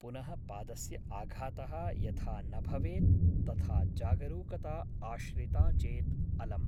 पुनः पादस्य आघातः यथा न भवेत् तथा जागरूकता आश्रिता चेत् अलम् ।